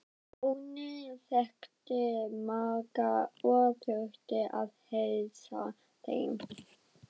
Árni þekkti marga og þurfti að heilsa þeim.